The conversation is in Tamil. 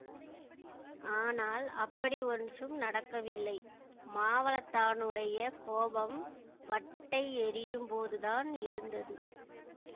ஆனால் அப்படி ஒன்றும் நடக்கவில்லை மாவளத்தானுடைய கோபம் வட்டை எறியும்போதுதான் இருந்தது